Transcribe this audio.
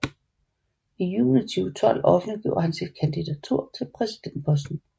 I juni 2012 offentliggjorde han sit kandidatur til præsidentposten